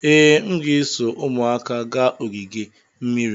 Ee, m ga-eso ụmụaka gaa ogige mmiri.